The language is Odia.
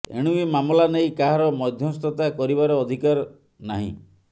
ଏଣୁ ଏ ମାମଲା ନେଇ କାହାର ମଧ୍ୟସ୍ଥତା କରିବାର ଅଧିକାର ନାହିଁ